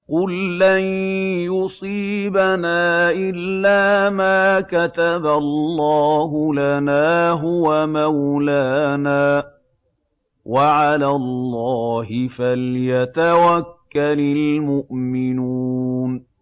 قُل لَّن يُصِيبَنَا إِلَّا مَا كَتَبَ اللَّهُ لَنَا هُوَ مَوْلَانَا ۚ وَعَلَى اللَّهِ فَلْيَتَوَكَّلِ الْمُؤْمِنُونَ